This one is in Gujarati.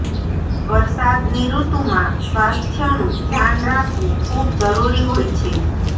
વરસાદની ઋતુમાં સ્વાસ્થનું ધ્યાન રાખવું ખૂબ જરૂરી હોય છે